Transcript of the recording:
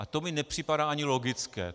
A to mi nepřipadá ani logické.